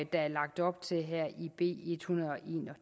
der er lagt op til her i b en hundrede og en